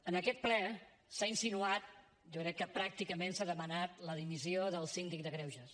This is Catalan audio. en aquest ple s’ha insinuat jo crec que pràcticament s’ha demanat la dimissió del síndic de greuges